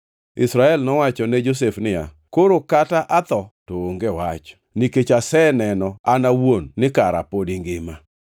Israel nowacho ne Josef niya, “Koro kata ka atho, to onge wach, nikech aseneno an awuon ni kara pod ingima.”